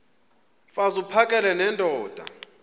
mfaz uphakele nendoda